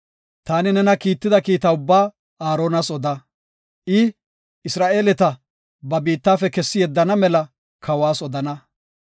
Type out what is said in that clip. Taani nena kiitida kiita ubbaa Aaronas oda. I, Isra7eeleta ba biittafe kessi yeddana mela kawas odana.